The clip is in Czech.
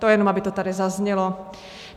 To jen aby to tady zaznělo.